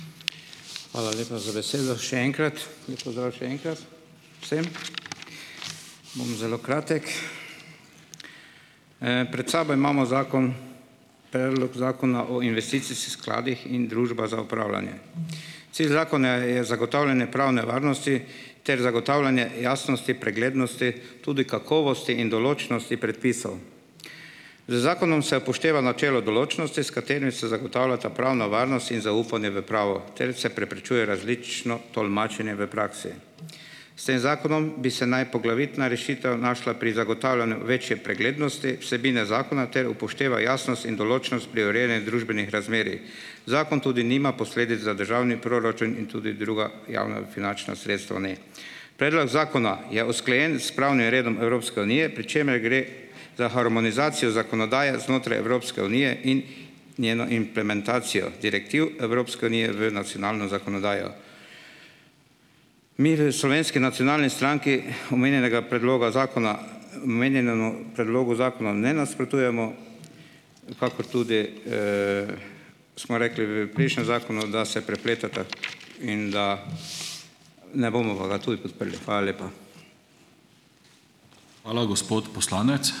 Hvala lepa za besedo še enkrat, lep pozdrav še enkrat vsem. Bom zelo kratek. Pred sabo imamo zakon, predlog Zakona o investicijskih skladih in družbah za upravljanje. Cilj zakona je zagotavljanje pravne varnosti ter zagotavljanje jasnosti, preglednosti, tudi kakovosti in določnosti predpisov. Z zakonom se upošteva načelo določnosti, s katerim se zagotavljata pravna varnost in zaupanje v pravo ter se preprečuje različno tolmačenje v praksi. S tem zakonom bi se naj poglavitna rešitev našla pri zagotavljanju večje preglednosti, vsebine zakona ter upošteva jasnost in določnost pri urejanju družbenih razmerij. Zakon tudi nima posledic za državni proračun in tudi druga javna finančna sredstva ne. Predlog zakona je usklajen s pravnim redom Evropske unije, pri čemer gre za harmonizacijo zakonodaje znotraj Evropske unije in njeno implementacijo direktiv Evropske unije v nacionalno zakonodajo. Mi v Slovenski nacionalni stranki omenjenega predloga zakona, omenjenemu predlogu zakona ne nasprotujemo, kakor tudi smo rekli v prejšnjem zakonu, da se prepletata in da ne bomo pa ga tudi podprli. Hvala lepa.